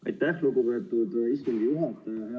Aitäh, lugupeetud istungi juhataja!